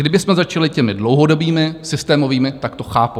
Kdybychom začali těmi dlouhodobými, systémovými, tak to chápu.